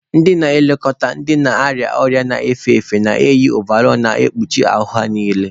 Ndị na-eleta ndị na-arịa ọrịa na-efe efe na-eyị ovarọl na-ekpuchi ahụ ha niile.